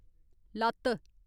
लत्त